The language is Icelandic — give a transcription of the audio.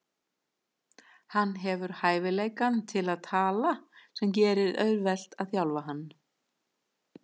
Hann hefur hæfileikann til að tala sem gerir auðvelt að þjálfa hann.